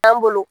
An bolo